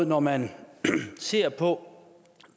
når man ser på